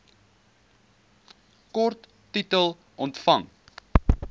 kort titel omvang